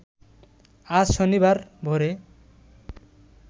আজ শনিবার ভোরে